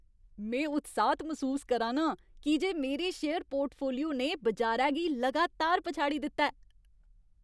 में उत्साह्त मसूस करा ना आं की जे मेरे शेयर पोर्टफोलियो ने बजारै गी लगातार पछाड़ी दित्ता ऐ।